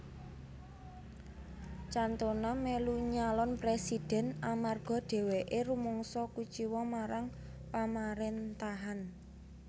Cantona melu nyalon presidhèn amarga dheweke rumangsa kuciwa marang pamarentahan